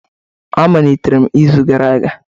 A malitere m izu gara aga